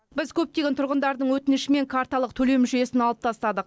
біз көптеген тұрғындардың өтінішімен карталық төлем жүйесін алып тастадық